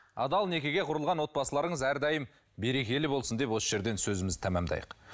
адал некеге құрылған отбасыларыңыз әрдайым берекелі болсын деп осы жерден сөзімізді тәмамдайық